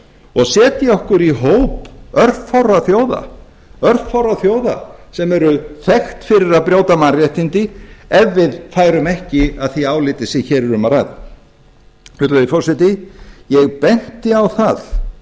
og segja okkur í hóp örfárra þjóða örfárra þjóða sem eru þekkt fyrir að brjóta mannréttindi ef við færum ekki að því áliti sem hér er um að ræða virðulegi forseti ég benti á það